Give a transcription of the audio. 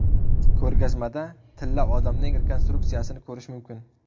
Ko‘rgazmada Tilla odamning rekonstruksiyasini ko‘rish mumkin.